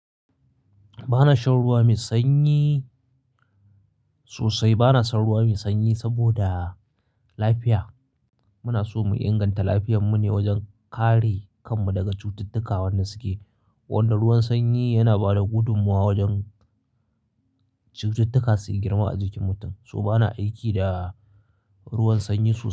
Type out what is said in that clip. Ba na shan ruwa mai sanyi sosai. Ba na son ruwa mai sanyi saboda lafiya. Muna so mu inganta lafiyar mu ne wajen kare kanmu daga cututtuka wannan suke. Wanda ruwan sanyi yana ba da gudummawa wajen cututtuka su yi girma a jikin mutum. So ba na aiki da ruwan sanyi sosai.